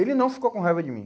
Ele não ficou com raiva de mim.